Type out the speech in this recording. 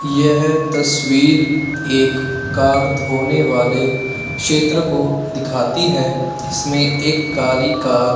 यह तस्वीर एक कार धोने वाले क्षेत्र को दिखाती है। इसमें एक काली कार --